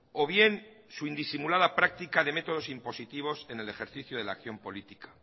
o bien su indisimulada práctica de métodos impositivos en el ejercicio de la acción política